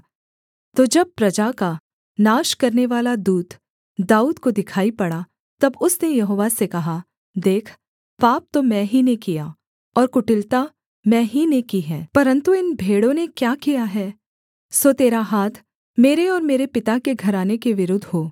तो जब प्रजा का नाश करनेवाला दूत दाऊद को दिखाई पड़ा तब उसने यहोवा से कहा देख पाप तो मैं ही ने किया और कुटिलता मैं ही ने की है परन्तु इन भेड़ों ने क्या किया है सो तेरा हाथ मेरे और मेरे पिता के घराने के विरुद्ध हो